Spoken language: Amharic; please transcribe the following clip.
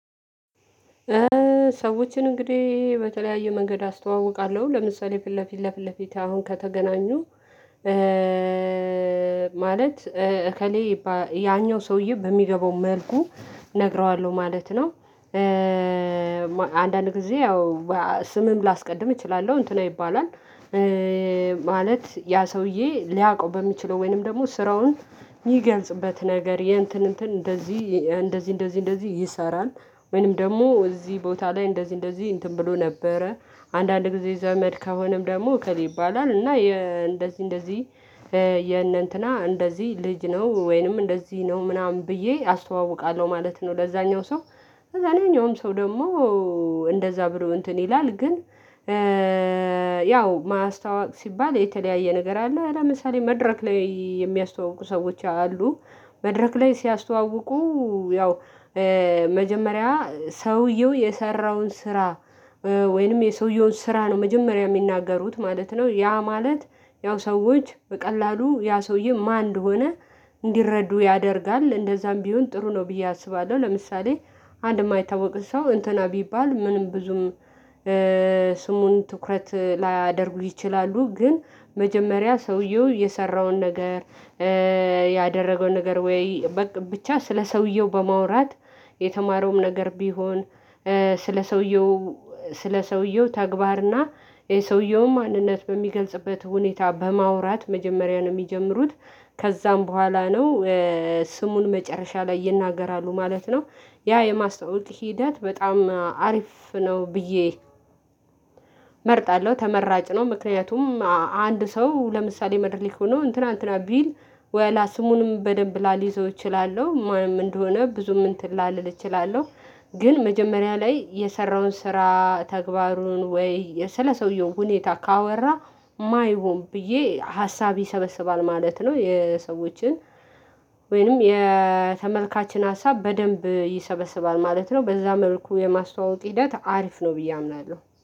ሰዎችን እንግዲህ በተለያየ መንገድ አስተዋውቃለሁ ለምሳሌ ፊት ለፊት ለፊት ለፊት አሁን ከተገናኙ ማለት እከሌ ያኛው ሰውዬ በሚገባው መልኩ እነግረዋለሁ ማለት ነው። አንዳንድ ጊዜ ያው ስምም ላስቀድም እችላለሁ እንትና ይባላል። ማለት ያ ሰውዬ ሊያውቀው በሚችለው ወይንም ደግሞ ስራውን የሚገልጽበት ነገር የእንትን እንትን እንደዚህ እንደዚህ እንደዚህ እንደዚህ ይሰራል ወይንም ደግሞ እዚህ ቦታ ላይ እንደዚህ እንደዚህ እንትን ብሎ ነበረ አንዳንድ ጊዜ ዘመድ ከሆነም ደግሞ እከሌ ይባላል እና እንደዚህ እንደዚህ የነንትና እንደዚህ ልጅ ነው ወይንም እንደዚህ ነው ምናምን ብዬ አስተዋውቃለሁ ማለት ነው። ለዛኛው ሰው ለዛኛውም ሰው ደግሞ እንደዛ ብሎ እንትን ይላል ግን ያው ማስታወቅ ሲባል የተለያየ ነገር አለ ለምሳሌ መድረክ ላይ የሚያስተዋውቁ ሰዎች አሉ። መድረክ ላይ ሲያስተዋውቁ ያው መጀመሪያ ሰውየው የሰራውን ስራ ወይንም የሰውየውን ስራ ነው መጀመሪያ የሚናገሩት ማለት ነው። ያ ማለት ያው ሰዎች በቀላሉ ያ ሰውዬ ማን እንደሆነ እንዲረዱ ያደርጋል እንደዛም ቢሆን ጥሩ ነው ብዬ አስባለሁ። ለምሳሌ አንድ የማይታወቅ ሰው እንትና ቢባል ምንም ብዙም ስሙን ትኩረት ላያደርጉ ይችላሉ። ግን መጀመሪያ ሰውየው የሰራውን ነገር ያደረገውን ነገር ወይ በቃ ብቻ ስለ ሰውየው በማውራት የተማረውም ነገር ቢሆን ስለ ሰውየው ስለ ሰውየው ተግባርና የሰውየውም ማንነት በሚገልጽበት ሁኔታ በማውራት መጀመሪያ ነው የሚጀምሩት። ከዛም በኋላ ነው ስሙን መጨረሻ ላይ ይናገራሉ ማለት ነው። ያ የማስተዋወቅ ሂደት በጣም አሪፍ ነው ብዬ እመርጣለሁ ተመራጭ ነው። ምክንያቱም አንድ ሰው ለምሳሌ መድረክ ሆኖ እንትና እንትና ቢል ወላ ስሙንም በደንብ ላልይዘው እችላለሁ ማንም እንደሆነ ብዙም እንትን ላልል እችላለሁ ግን መጀመሪያ ላይ የሰራውን ስራ ተግባሩን ወይ ስለሰውየው ሁኔታ ካወራ ማ ይሆን ብዬ ሀሳብ ይሰበስባል ማለት ነው። የሰዎችን ወይንም የተመልካችን ሀሳብ በደንብ ይሰበስባል ማለት ነው። በዛ መልኩ የማስተዋወቅ ሂደት አሪፍ ነው ብዬ አምናለሁ